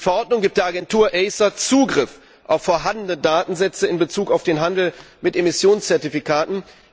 Die Verordnung gibt der Agentur ACER Zugriff auf vorhandene Datensätze in Bezug auf den Handel mit Emissionszertifikaten.